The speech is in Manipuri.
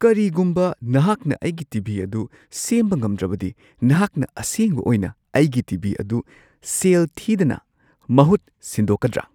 ꯀꯔꯤꯒꯨꯝꯕ ꯅꯍꯥꯛꯅ ꯑꯩꯒꯤ ꯇꯤ. ꯚꯤ. ꯑꯗꯨ ꯁꯦꯝꯕ ꯉꯝꯗ꯭ꯔꯕꯗꯤ ꯅꯍꯥꯛꯅ ꯑꯁꯦꯡꯕ ꯑꯣꯏꯅ ꯑꯩꯒꯤ ꯇꯤ. ꯚꯤ. ꯑꯗꯨ ꯁꯦꯜ ꯊꯤꯗꯅ ꯃꯍꯨꯠ ꯁꯤꯟꯗꯣꯛꯀꯗ꯭ꯔꯥ?